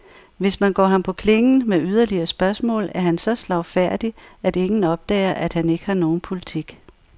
Hvis man går ham på klingen med yderligere spørgsmål, er han så slagfærdig, at ingen opdager, at han ikke har nogen politik.